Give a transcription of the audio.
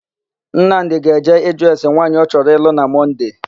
Nnamdì ga-eje ịjụ ese nwaanyị ọ chọrọ ịlụ na Mọnde.